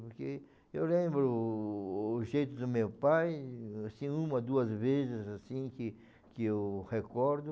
Porque eu lembro o o jeito do meu pai, assim, uma, duas vezes, assim, que que eu recordo.